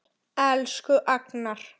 Elsku Agnar.